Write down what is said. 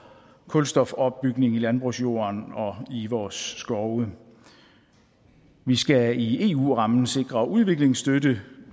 kulstofopbygning i landbrugsjorden og i vores skove vi skal i eu rammen sikre udviklingsstøtte